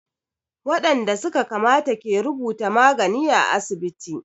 Waɗanda su ka kamata ke rubuta magani à asibiti.